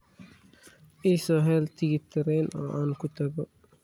I soo hel tigidh tareen oo aan ku tago